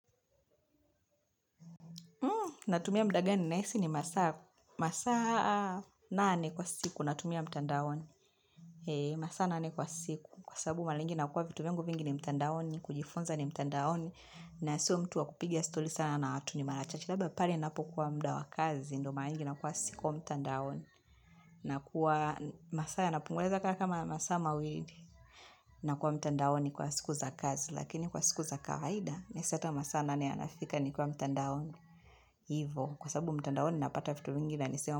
Natumia muda gani? Nahisi ni masaa nane kwa siku. Natumia mtandaoni. Masaa nane kwa siku. Kwa sabu mara mingi nakuwa vitu vyangu vingi ni mtandaoni. Kujifonza ni mtandaoni. Na sio mtu wa kupiga stoli sana na watu ni mara cha. Chilaba pari napokuwa muda wa kazi. Ndo mara mingi nakuwa siko mtandaoni. Masaa yanapungua naweza kama masa mawili. Nakuwa mtandaoni kwa siku za kazi. Lakini kwa siku za kawaida. Neseta masaa nane yanafika ni kwa mtandaoni. Hivyo. Kwa sababu mtandoni napata vitu mingi na nisema.